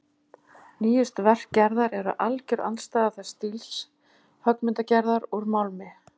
Nýjustu verk Gerðar eru alger andstæða þess stíls höggmyndagerðar úr málmi.